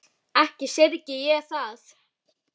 Ekki syrgi ég það.